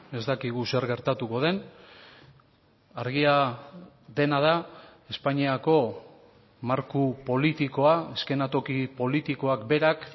ez dakigu zer gertatuko den argia dena da espainiako marko politikoa eskenatoki politikoak berak